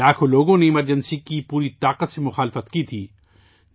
لاکھوں لوگوں نے ایمرجنسی کی پوری طاقت سے مخالفت کی تھی